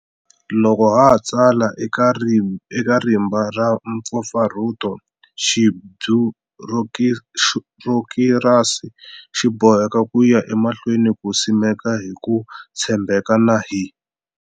Loko ha ha tsala eka rimba ra mpfapfarhuto, xibyurokirasi xi boheka ku ya emahlweni ku simeka hi ku tshembeka na hi.